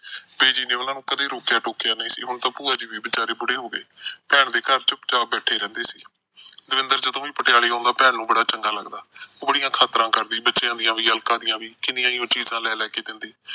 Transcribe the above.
Busy ਨੇ ਕਦੇ ਉਹਨਾਂ ਨੂੰ ਰੋਕਿਆ ਟੋਕਿਆ ਨਹੀਂ ਸੀ। ਹੁਣ ਤਾਂ ਭੂਆ ਜੀ ਵੀ ਵਿਚਾਰ ਬੁਡੇ ਹੋ ਗਏ। ਭੈਣ ਦੇ ਘਰ ਚੁੱਪਚਾਪ ਬੈਠੇ ਰਹਿੰਦੇ ਸੀ। ਦਵਿੰਦਰ ਜਦੋਂ ਵੀ ਪਟਿਆਲੇ ਆਉਂਦਾ, ਭੈਣ ਨੂੰ ਬੜਾ ਚੰਗਾ ਲੱਗਦਾ। ਉਹ ਬੜੀਆਂ ਖਾਤਰਾ ਕਰਦੀ ਬੱਚਿਆ ਦੀ ਵੀ, ਅਲਕਾ ਦੀ ਵੀ, ਕਿੰਨੀਆਂ ਉਹ ਚੀਜਾਂ ਲੈ ਲੈ ਕੇ ਦਿੰਦੀ।